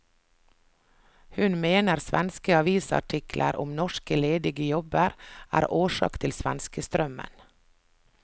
Hun mener svenske avisartikler om norske ledige jobber er årsak til svenskestrømmen.